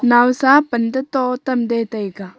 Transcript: naosa panda to tam de taiga.